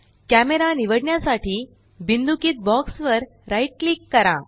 camera निवडण्यासाठी बिंदुकीत box right राइट क्लिक करा